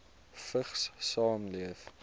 vigs saamleef